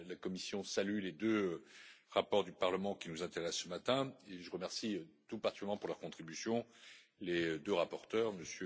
La Commission salue les deux rapports du Parlement qui nous intéressent ce matin et je remercie tout particulièrement pour leur contribution les deux rapporteurs, M.